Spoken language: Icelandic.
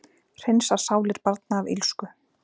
Hreinsar sálir barna af illsku